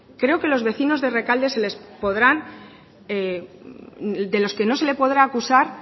creo que los vecinos de rekalde de lo que no se les podrá acusar